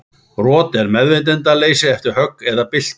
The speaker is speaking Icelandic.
Rot er meðvitundarleysi eftir högg eða byltu.